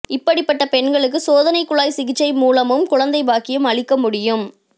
இப்படிப்பட்ட பெண்களுக்கு சோதனைக்குழாய் சிகிச்சை மூலமும் குழந்தைபாக்கியம் அளிக்க முடியும்